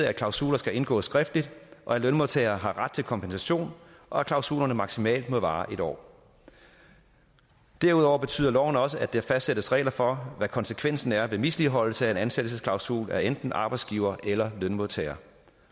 at klausuler skal indgås skriftligt at lønmodtagere har ret til kompensation og at klausulerne maksimalt må vare en år derudover betyder loven også at der fastsættes regler for hvad konsekvensen er ved misligholdelse af en ansættelsesklausul af enten arbejdsgiver eller lønmodtager